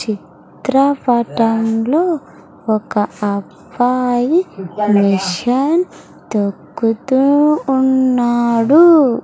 చిత్రపటంలో ఒక అబ్బాయి మెషిన్ తొక్కుతూ ఉన్నాడు.